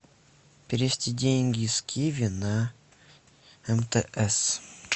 перевести деньги с киви на мтс